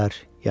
yaralanar.